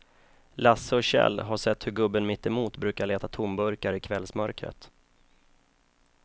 Lasse och Kjell har sett hur gubben mittemot brukar leta tomburkar i kvällsmörkret.